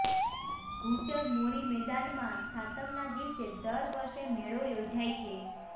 ભૂચર મોરી મેદાનમાં સાતમના દિવસે દર વર્ષે મેળો યોજાય છે